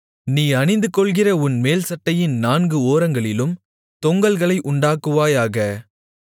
நீ அணிந்துகொள்கிற உன் மேல்சட்டையின் நான்கு ஓரங்களிலும் தொங்கல்களை உண்டாக்குவாயாக